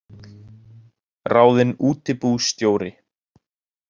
Ráðinn útibússtjóri